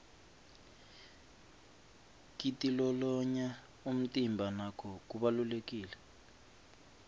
kitilolonya umtimba nako kubalulekile